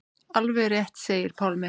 Alveg rétt segir Pálmi.